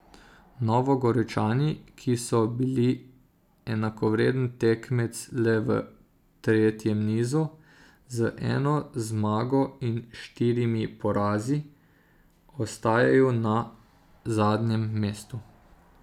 Novogoričani, ki so bili enakovreden tekmec le v tretjem nizu, z eno zmago in štirimi porazi ostajajo na zadnjem mestu.